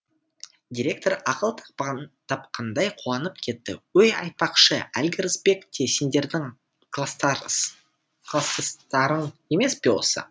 директор ақыл тапқандай қуанып кетті өй айтпақшы әлгі рысбек те сендердің кластастарың емес пе осы